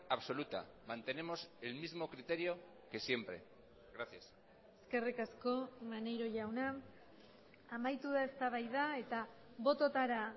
absoluta mantenemos el mismo criterio que siempre gracias eskerrik asko maneiro jauna amaitu da eztabaida eta bototara